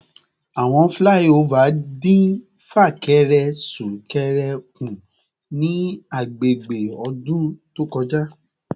Awọn flyover din fakere sunkere ku ni agbegbe odun to koja